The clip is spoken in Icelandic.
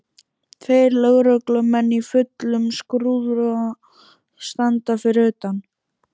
Tveir lögreglumenn í fullum skrúða standa fyrir utan.